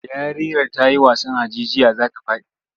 Yarinyar ta yi wasan hajijiya za ta faɗi.